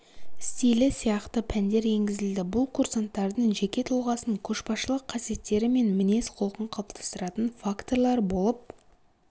стилі сияқты пәндер енгізілді бұл курсанттардың жеке тұлғасын көшбасшылық қасиеттері мен мінез-құлқын қалыптастыратын факторлар болып